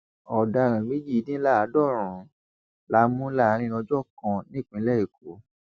ọdaràn méjìdínláàádọrùn la mú láàrin ọjọ kan nípínlẹ èkó